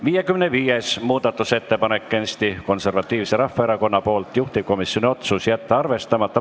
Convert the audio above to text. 55. muudatusettepanek on Eesti Konservatiivselt Rahvaerakonnalt, juhtivkomisjoni otsus: jätta arvestamata.